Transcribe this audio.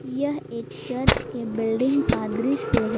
यह एक चर्च के बिल्डिंग का दृश्य है।